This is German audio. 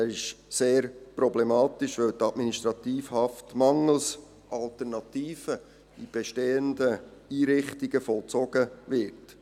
Er ist sehr problematisch, weil die Administrativhaft mangels Alternativen in bestehenden Einrichtungen vollzogen wird.